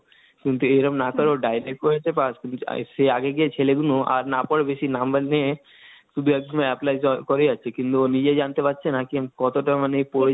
কিন্তু এইরোম dialogue এ পাস করেছে সে আগে গিয়ে ছেলেগুলো আর না পরে বেশি number নিয়ে শুধু একদম apply করে যাচ্ছে. কিন্তু ও নিজেই জানতে পারছে না কি কতটা মানে পড়ছে,